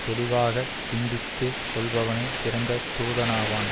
தெளிவாகச் சிந்தித்து சொல்பவனே சிறந்த தூதனாவான்